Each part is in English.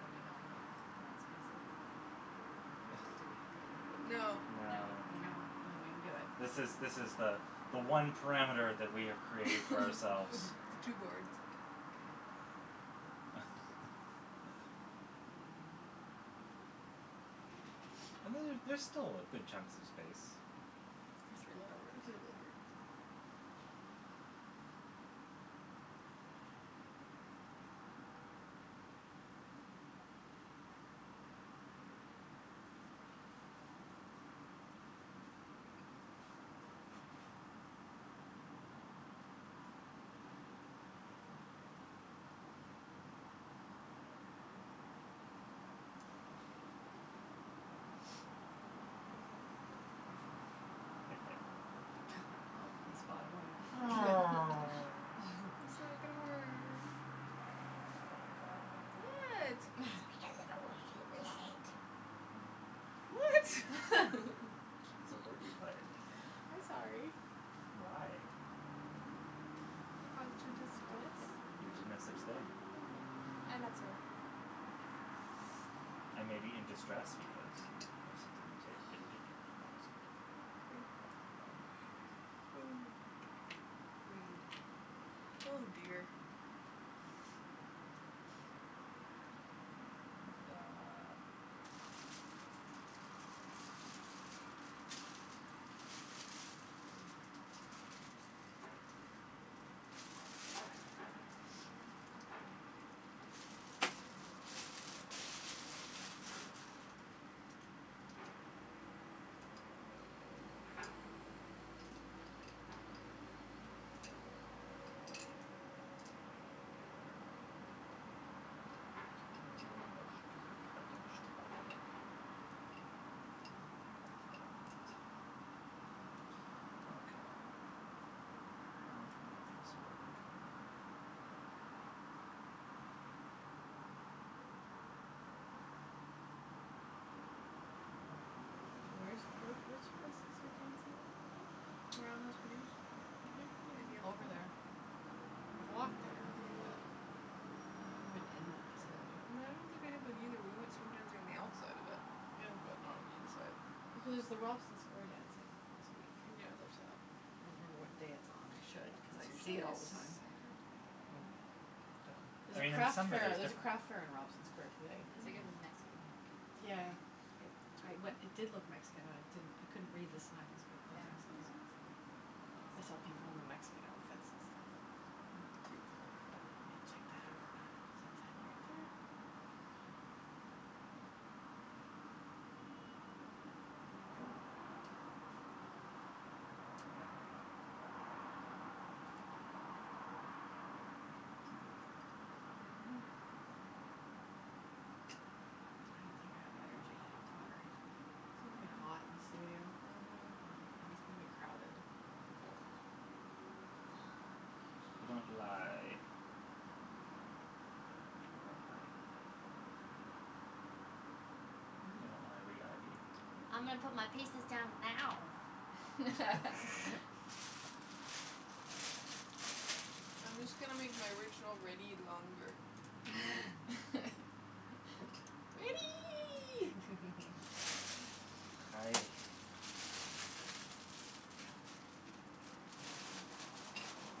Are we going off the board spaces? Do we agree? No. No. No? No. No, I Okay. don't think we can do it. This is this is the the one parameter that we have created for ourselves. The two boards. Okay, well, that wouldn't work. Um And then there's still good chunks of space. For three letter For words. three letter words. Well, he spotted one. Oh. I'm sorry, I got a word. What? What? It's because of a word you played. I'm sorry. Why? I caused you distress. You did no such thing. Okay, I'm not sorry. Thank you. I may be in distress because of something you did, but you didn't cause it. Okay. Okay. Rude. Oh, dear. Duh. Okay. How to make this work. Where's where's where's the places Mm. you're dancing at today? Around In Over Yaletown. there. I've walked there. But Mm. I've never been in that facility. I don't think I have been, either. We went swing dancing on the outside of it, Yeah. but not on the inside. Here's the Robson square dancing once a week. Yeah, there's that. I don't know what day it's on, I should, cuz It's I see usually it a S- all the time. Saturday. Hmm. Yeah. I There's a mean, in crafts some fair, way it's there's a crafts fair differen- in Robson square yeah. today. It's like a Mhm. Mexican market Yeah. today. Yeah. I Cute. we- it did look Mexican I didn't I couldn't read the signs, but it Yeah, makes no, sense. it's Mhm. like a I saw people Mexican in a Mexican market. outfits and stuff. Cute. Maybe I'll check that out since I'm right there. I don't think I have energy to do pottery today. It'll be Mm. hot and Mhm. And crowded You don't lie about ivy. You know ivy, ivy. I'm gonna put my pieces down now. I'm just gonna make my original ready longer. Ready! Hi.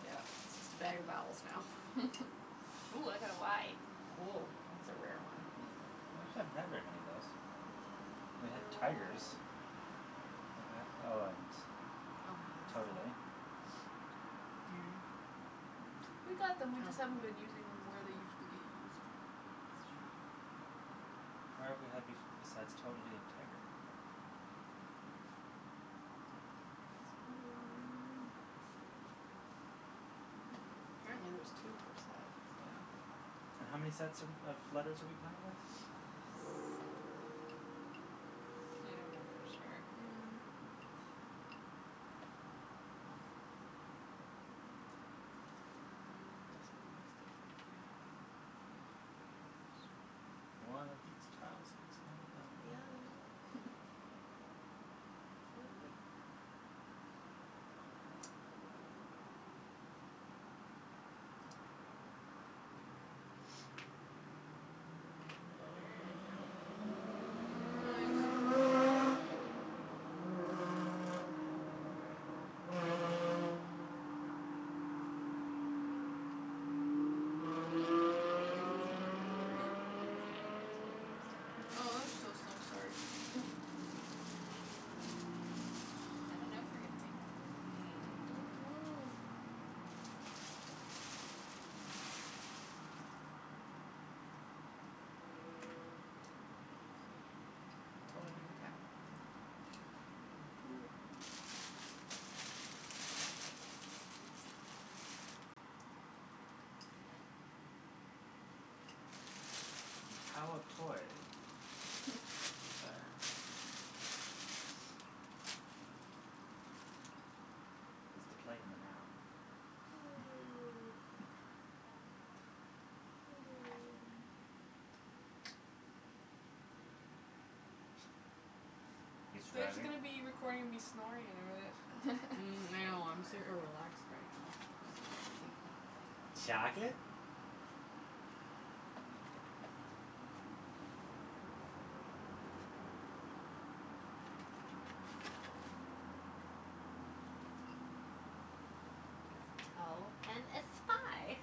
Yeah, it's a better vowels now. Ooh, I got a y. Oh, that's a rare one. I actually haven't had very many of those. Mm. I We had wonder why. tigers. Have we had Oh, and totally. Yeah. Yeah. We got them, we just Oh, haven't been using them yeah where they usually get used. It's true. Where have we had bef- besides totally and tiger? Don't think there is one. Hmm. Apparently there's two per set, so. Yeah. And how many sets are we of letters are we playing with? Several. I don't know for sure. Mhm. Mm. This kinda looks differently. Yes. One of these tiles is not like The the other. other. Yeah. Completely. Okay. I'm gonna make odour and owee. Nice. Is the bag empty or is it Hmm? still Is the bag empty or are there still Oh, there's letters? still some. Sorry. Hmm. I don't know if we're gonna make it through all of these, man. Don't know. Mm. Toe and tao. Cool. The tao of toy. Sure. Is the play in the now. You They're just surviving? gonna be recording me snoring in a minute. Mm. I So know. I'm super tired. relaxed right now. So sleepy. It's like Chocolate? Tao and a spy.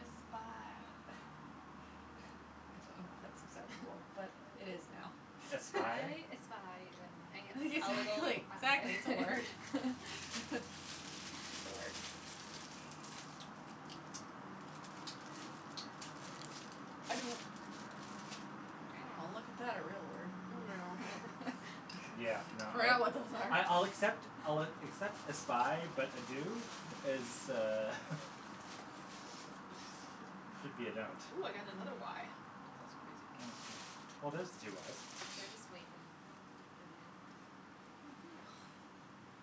A spy. I don't know if that's exact but it is now. Espie? I espy when my a little Exactly, exactly, it's a eye. word. It's a word. I do. Oh, look at Very nice. that. A real word. I know. Yeah, no, I I I'll accept I'll accept espie, but ado is uh should be a don't. Ooh, I got another y. That's crazy. Oh, well, there's the two y's. They're just waiting to put the end in. Mhm. Oh.